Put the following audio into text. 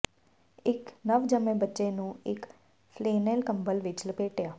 ਇੱਕ ਨਵਜੰਮੇ ਬੱਚੇ ਨੂੰ ਇੱਕ ਫਲੇਨੇਲ ਕੰਬਲ ਵਿੱਚ ਲਪੇਟਿਆ